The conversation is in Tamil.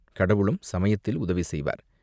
கடவுளும் சமயத்தில் உதவி செய்வார்.